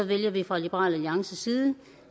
vælger vi fra liberal alliances side